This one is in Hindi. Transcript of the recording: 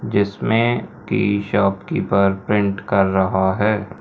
जिसमें की शॉप कीपर प्रिंट कर रहा है।